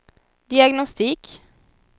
diagnostik